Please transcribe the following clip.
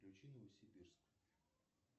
включи новосибирск